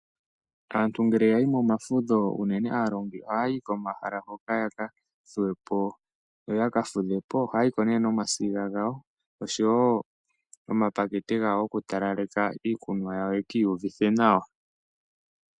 Aantu ngele yayi momafudho unene aalongi oha yayi komahala hoka yaka thuwepo yoyaka fudhepo, ohaya yiko nee nomasiga gawo oshowo omapakete gawo goku talaleka iikunwa yawo yekiiyuvithe nawa.